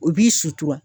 U b'i sutura